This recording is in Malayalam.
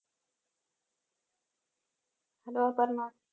hello, അപർണ്ണ